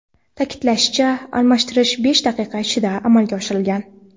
Ta’kidlanishicha, almashtirish besh daqiqa ichida amalga oshirilgan.